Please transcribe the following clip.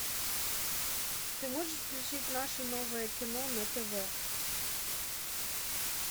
ты можешь включить наше новое кино на тв